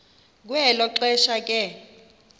kwelo xesha ke